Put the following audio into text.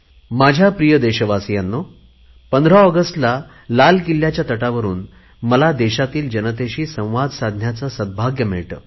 माझ्या प्रिय देशवासीयांनो 15 ऑगस्टला लाल किल्ल्यावरुन मला देशातील जनतेशी संवाद साधण्याचे सद्भाग्य मिळते